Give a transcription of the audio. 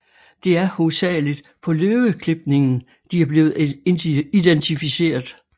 Det er hovedsageligt på løveklipningen de er blev identificeret